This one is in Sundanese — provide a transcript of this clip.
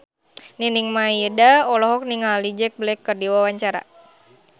Nining Meida olohok ningali Jack Black keur diwawancara